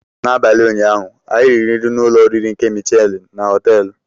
N'abalị ụnyaahụ, anyị riri nri na ụlọ oriri nke Michelin na họteelu.